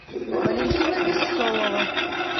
валентина бессолова